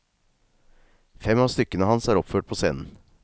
Fem av stykkene hans er oppført på scenen.